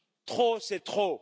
Trop, c'est trop!